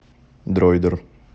дройдер